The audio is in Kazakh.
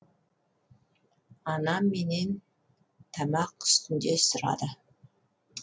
анам менен тамақ үстінде сұрады